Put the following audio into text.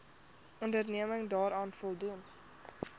onderneming daaraan voldoen